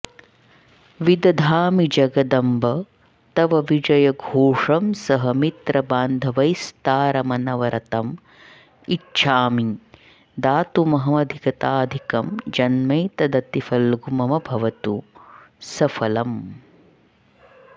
विदधामि जगदम्ब तव विजयघोषं सह मित्रबान्धवैस्तारमनवरतं इच्छामि दातुमहमधिगताधिकं जन्मैतदतिफल्गु मम भवतु सफलम्